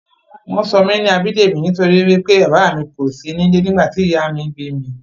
Wọ́n sọ mí ní Abidemi nítorí wí pé bàbá mi kòsí ní ilé nígbà tí ìyá mí bími